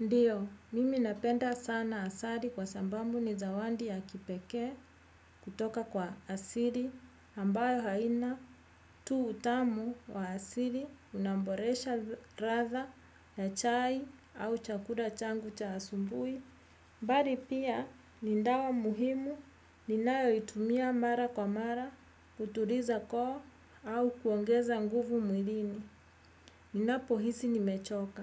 Ndio, mimi napenda sana asali kwa sababu ni zawadi ya kipekee kutoka kwa asili ambayo haina tu utamu wa asili unaboresha ladha ya chai au chakula changu cha asubuhi. Bali pia ni dawa muhimu ninayoitumia mara kwa mara, kutuliza koo au kuongeza nguvu mwilini. Ninapo hisi ni mechoka.